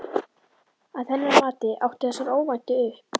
Að hennar mati áttu þessar óvæntu upp